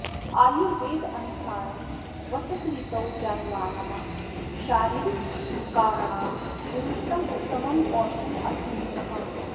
आयुर्वेदानुसारं वसन्तऋतौ जायमनानां शारीरकविकाराणां निमित्तम् उत्तमम् औषधम् अस्ति निम्बकम्